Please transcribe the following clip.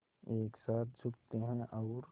एक साथ झुकते हैं और